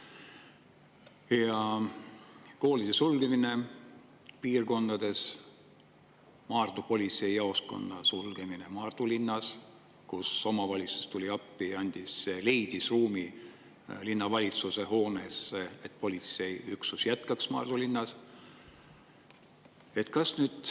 koolide sulgemise piirkondades, Maardu politseijaoskonna sulgemise Maardu linnas, kus omavalitsus tuli appi ja leidis ruumi linnavalitsuse hoones, et politseiüksus jätkaks Maardu linnas.